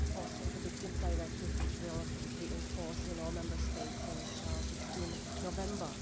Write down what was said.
Also, the Victims Directive, which will be in force in all Member States on 16 November.